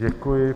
Děkuji.